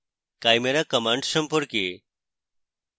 chimera commands সম্পর্কে